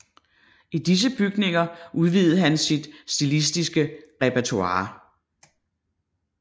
I disse bygninger udvidede han sit stilistiske repertoire